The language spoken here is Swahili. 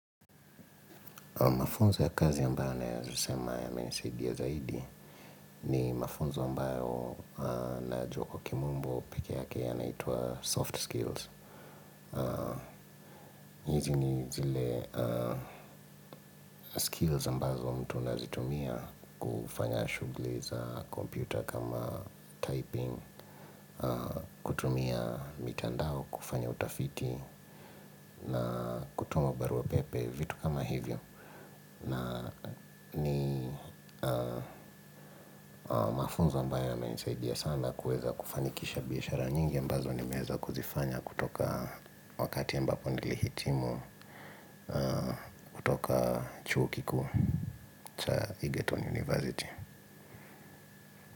Mafunzo ya kazi ambayo naweza sema yamenisaidia zaidi ni mafunzo ambayo najua kwa kimumbu pekee yake yanaitwa soft skills. Hizi ni zile skills ambazo mtu anazitumia kufanya shughuli za kompyuta kama typing, kutumia mitandao kufanya utafiti na kutuma barua pepe vitu kama hivyo. Na ni mafunzo ambayo yamenisaidia sana kuweza kufanikisha biashara nyingi ambazo nimeweza kuzifanya kutoka wakati ambapo nilihitimu chuo kikuu cha Egerton University.